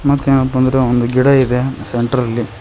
ಮತ್ತೇನಪ್ಪಾ ಅಂದ್ರೆ ಒಂದು ಗಿಡ ಇದೆ ಸೆಂಟ್ರಲ್ಲಿ.